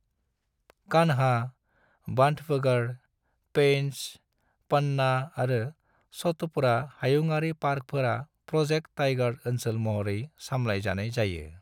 कान्हा, बांधवगढ़, पेंच, पन्ना आरो सतपुड़ा हायुङारि पार्कफोरा प्र'जेक्ट टाइगर ओनसोल महरै समलाय जानाय जायो।